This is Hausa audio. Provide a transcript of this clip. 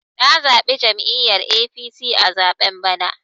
Na zaɓi jam'iyyar APC a zaɓen bana.